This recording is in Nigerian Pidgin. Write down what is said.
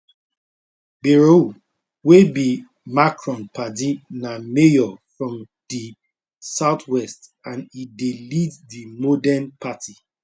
bayrou wey be macron padi na mayor from di southwest and e dey lead di modem party